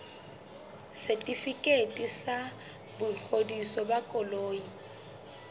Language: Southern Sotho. setefikeiti sa boingodiso ba koloi